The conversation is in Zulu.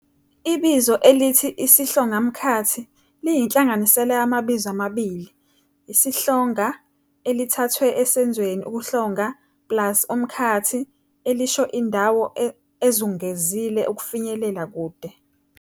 Ibizo elithi isihlongamkhathi liyinhlanganisela yamabizo amabili, 'isihlonga', elithathwe esenzweni ukuhlonga, plus 'umkhathi', elisho indawo ezungezile efinyelela kude.